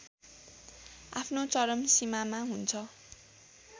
आफ्नो चरम सीमामा हुन्छ